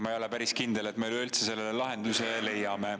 Ma ei ole päris kindel, et me üldse sellele lahenduse leiame.